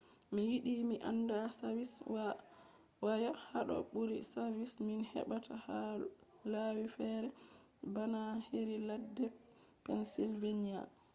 mi yiɗi mi anda savis waya haɗo ɓuri savis min heɓata ha lawi fere bana heri ladde pensilveniya